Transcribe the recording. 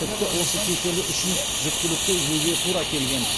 тіпті осы кеселі үшін жүктілікті үзуге тура келген